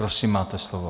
Prosím, máte slovo.